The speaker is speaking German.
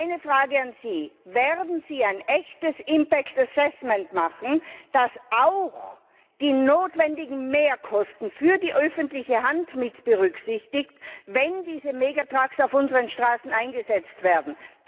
Meine Frage an Sie Werden Sie ein echtes impact assessment machen, das auch die notwendigen Mehrkosten für die öffentliche Hand mitberücksichtigt, wenn diese Gigaliner auf unseren Straßen eingesetzt werden?